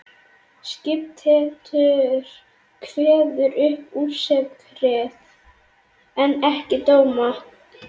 Skiptaréttur kveður upp úrskurði en ekki dóma.